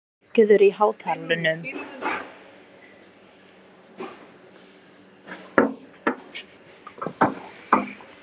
Emil, lækkaðu í hátalaranum.